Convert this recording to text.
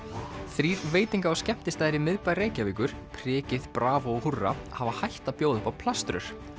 þrír veitinga og skemmtistaðir í miðbæ Reykjavíkur prikið bravó og húrra hafa hætt að bjóða upp á plaströr